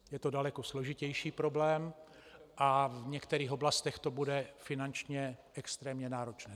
Je to daleko složitější problém a v některých oblastech to bude finančně extrémně náročné.